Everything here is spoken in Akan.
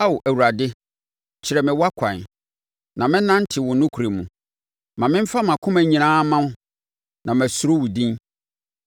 Ao Awurade, kyerɛ me wʼakwan, na mɛnante wo nokorɛ mu; ma memfa mʼakoma nyinaa mma wo na masuro wo din.